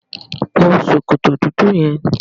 Wọ sòkòtò dúdú yẹn!